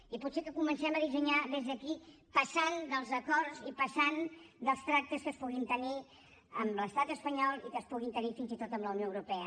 i potser que comencem a dissenyar des d’aquí passant dels acords i passant dels tractes que es puguin tenir amb l’estat espanyol i que es puguin tenir fins i tot amb la unió europea